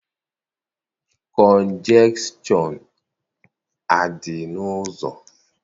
Kọnjekshọn adị n'ụzọ?